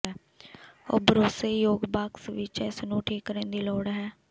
ਉਹ ਭਰੋਸੇਯੋਗ ਬਾਕਸ ਵਿੱਚ ਇਸ ਨੂੰ ਠੀਕ ਕਰਨ ਦੀ ਲੋੜ ਹੈ